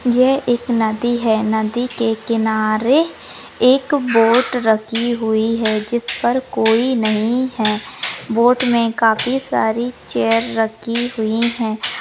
यह एक नदी है। नदी के किनारे एक बोट रखी हुई है जिस पर कोई नहीं है। बोट मे काफी सारी चेअर रखी हुई है।